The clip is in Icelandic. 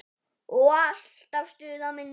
Og alltaf stuð á minni.